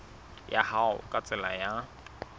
ya hao ka tsela ya